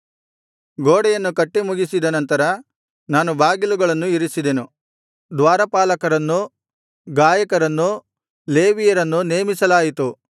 ಗೋಡೆಯನ್ನು ಕಟ್ಟಿ ಮುಗಿಸಿದ ನಂತರ ನಾನು ಬಾಗಿಲುಗಳನ್ನು ಇರಿಸಿದೆನು ದ್ವಾರಪಾಲಕರನ್ನೂ ಗಾಯಕರನ್ನೂ ಲೇವಿಯರನ್ನೂ ನೇಮಿಸಲಾಯಿತು